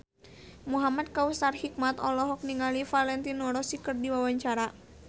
Muhamad Kautsar Hikmat olohok ningali Valentino Rossi keur diwawancara